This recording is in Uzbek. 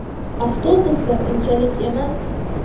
Avtobuslar unchalik emas.